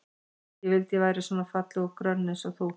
Ég vildi að ég væri svona falleg og grönn eins og þú.